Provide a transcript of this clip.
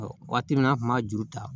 Waati min na an kun b'a juru ta